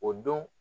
O don